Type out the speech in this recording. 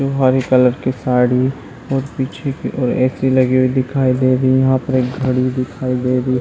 हरी colour की साड़ी और पीछे की और ऐसी लगी हुई दिखाई दे रही है यहाँ पर एक घड़ी दिखाई दे रही है।